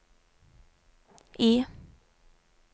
I